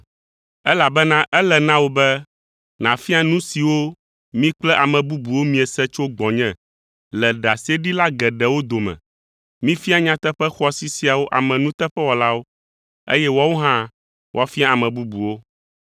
elabena ele na wò be nàfia nu siwo mi kple ame bubuwo miese tso gbɔnye le ɖaseɖila geɖewo dome. Mifia nyateƒe xɔasi siawo ame nuteƒewɔlawo, eye woawo hã woafia ame bubuwo.